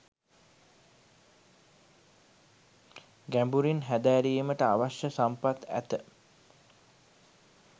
ගැඹුරින් හැදෑරීමට අවශ්‍ය සම්පත් ඇත.